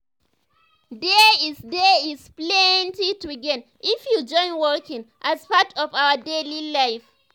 there’s there’s plenty to gain if you join walking as part of your daily life.